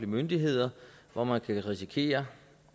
myndigheder hvor man kan risikere